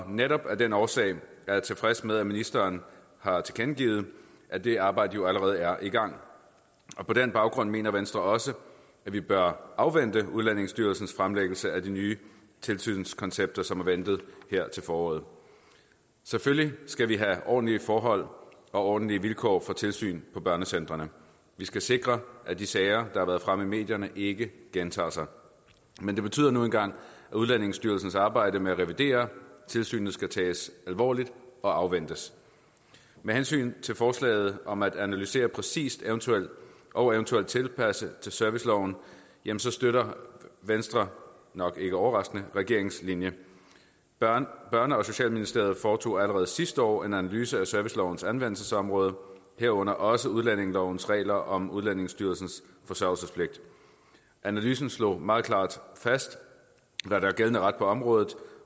netop af den årsag er jeg tilfreds med at ministeren har tilkendegivet at det arbejde jo allerede er i gang på den baggrund mener venstre også at vi bør afvente udlændingestyrelsens fremlæggelse af de nye tilsynskoncepter som er ventet her til foråret selvfølgelig skal vi have ordentlige forhold og ordentlige vilkår for tilsyn på børnecentrene vi skal sikre at de sager der har været fremme i medierne ikke gentager sig men det betyder nu engang at udlændingestyrelsens arbejde med at revidere tilsynet skal tages alvorligt og afventes med hensyn til forslaget om at analysere præcist og eventuelt tilpasse til serviceloven støtter venstre nok ikke overraskende regeringens linje børne børne og socialministeriet foretog allerede sidste år en analyse af servicelovens anvendelsesområde herunder også udlændingelovens regler om udlændingestyrelsens forsørgelsespligt analysen slog meget klart fast hvad der er gældende ret på området